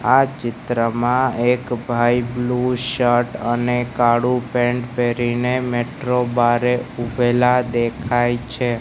આ ચિત્રમાં એક ભાઈ બ્લુ શર્ટ અને કાળુ પેન્ટ પહેરીને મેટ્રો બારે ઊભેલા દેખાય છે.